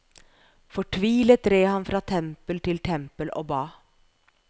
Fortvilet red han fra tempel til tempel og ba.